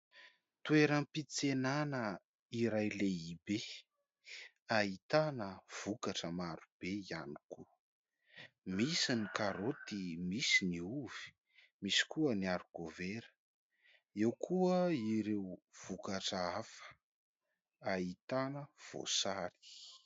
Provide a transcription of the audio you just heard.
Toeram-piantsenana iray lehibe ahitana vokatra maro be ihany koa. Misy ny karôty, misy ny ovy, misy koa ny "arikovera" eo koa ireo vokatra hafa ahitana voasary.